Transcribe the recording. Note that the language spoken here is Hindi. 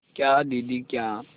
क्या दीदी क्या